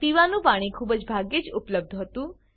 પીવાનું પાણી ખૂબ જ ભાગ્યે જ ઉપલબ્ધ હતું